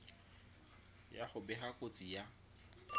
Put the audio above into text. ya go bega kotsi ya